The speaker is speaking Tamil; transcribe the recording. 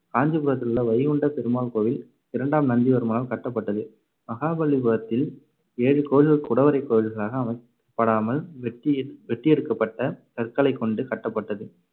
காஞ்சிபுரத்திலுள்ள வைகுண்டப் பெருமாள் கோவில் இரண்டாம் நந்திவர்மனால் கட்டப்பட்டது. மகாபலிபுரத்தில் ஏழு கோவில் குடைவரைக் கோவில்களாக அமைக்கப்படாமல், வெட்டியெ~ வெட்டியெடுக்கப்பட்ட கற்களைக்கொண்டு கட்டப்பட்டது.